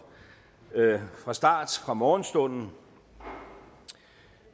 fra start fra morgenstunden